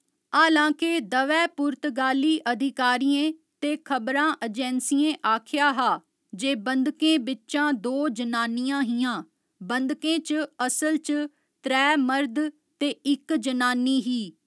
हालांके दवै पुर्तगाली अधिकारियें ते खबरां अजैंसियें आखेआ हा जे बंधकें बिच्चां दो जनानियां हियां, बंधकें च असल च त्रै मर्द ते इक जनानी ही।